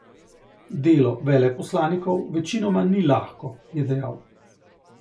Delo veleposlanikov večinoma ni lahko, je dejal.